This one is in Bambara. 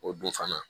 O dun fana